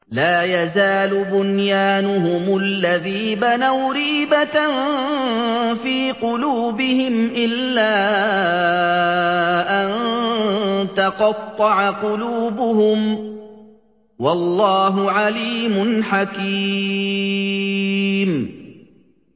لَا يَزَالُ بُنْيَانُهُمُ الَّذِي بَنَوْا رِيبَةً فِي قُلُوبِهِمْ إِلَّا أَن تَقَطَّعَ قُلُوبُهُمْ ۗ وَاللَّهُ عَلِيمٌ حَكِيمٌ